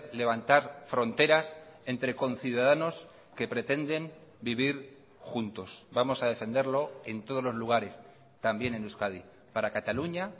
levantar fronteras entre conciudadanos que pretenden vivir juntos vamos a defenderlo en todos los lugares también en euskadi para cataluña